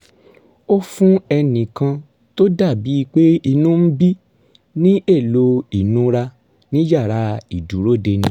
ó fún ẹnì kan tó dà bíi pé inú ń bí i ní èlò ìnura ní yàrá ìdúródeni